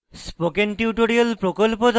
spoken tutorial প্রকল্প the